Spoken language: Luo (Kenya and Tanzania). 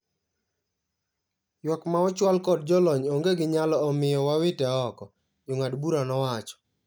Ywak ma ochwal kod jolony onge gi nyalo omio wawite oko," jong'ad bura nowacho.